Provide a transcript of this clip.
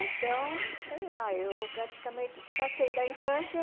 Então, sei lá, eu praticamente passei da infância...